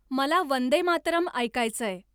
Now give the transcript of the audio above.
मला वंदे मातरम् ऐकायचंय